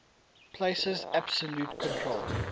places absolute control